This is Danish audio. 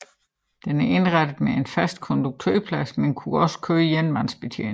Den er indrettet med en fast konduktørplads men kunne også køre enmandsbetjent